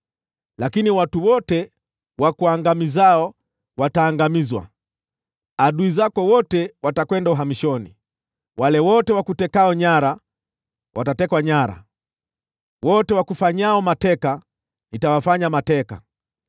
“ ‘Lakini watu wote wakuangamizao wataangamizwa; adui zako wote watakwenda uhamishoni. Wale wote wakutekao nyara watatekwa nyara; wote wakufanyao mateka nitawafanya mateka.